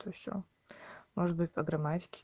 то сё может быть по грамматике